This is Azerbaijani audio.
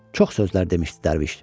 Çox sözlər demişdi dərviş.